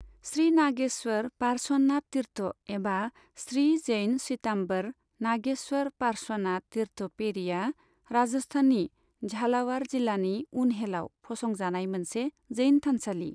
श्री नागेश्वर पार्श्वनाथ तीर्थ एबा श्री जैन श्वेताम्बर नागेश्वर पार्श्वनाथ तीर्थ पेढ़ीआ राजस्थाननि झालावाड़ जिल्लानि उन्हेलआव फसंजानाय मोनसे जैन थानसालि।